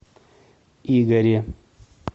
игоре